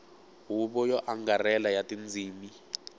huvo yo angarhela ya tindzimi